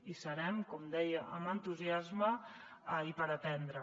hi serem com deia amb entusiasme i per aprendre